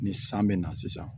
Ni san bɛ na sisan